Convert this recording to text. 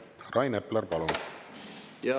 Rain Epler, palun!